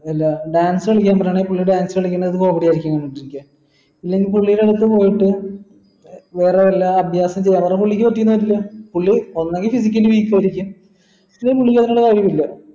എന്താ dance കളിക്കാൻ പറഞ്ഞാൽ പുള്ളി dance കാലിക്കണത് comedy ആയിരിക്കും ഇല്ലെങ്കി പുള്ളിന്റെ അടുത്ത് പോയിട്ട് വേറെ വല്ല അഭ്യാസം ചെയ്യാൻ പറഞ്ഞാൽ പുള്ളിക്ക് പറ്റിന്ന് വരില്ല പുള്ളി ഒന്നെങ്കി ഇല്ലെങ്കി പുള്ളിക്ക് അതിനുള്ള കഴിവില്ല